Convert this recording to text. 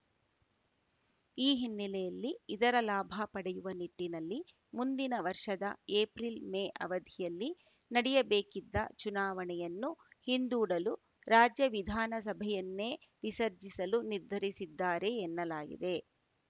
ಈ ಹಿನ್ನೆಲೆಯಲ್ಲಿ ಇದರ ಲಾಭ ಪಡೆಯುವ ನಿಟ್ಟಿನಲ್ಲಿ ಮುಂದಿನ ವರ್ಷದ ಏಪ್ರಿಲ್‌ ಮೇ ಅವಧಿಯಲ್ಲಿ ನಡೆಯಬೇಕಿದ್ದ ಚುನಾವಣೆಯನ್ನು ಹಿಂದೂಡಲು ರಾಜ್ಯ ವಿಧಾನಸಭೆಯನ್ನೇ ವಿಸರ್ಜಿಸಲು ನಿರ್ಧರಿಸಿದ್ದಾರೆ ಎನ್ನಲಾಗಿದೆ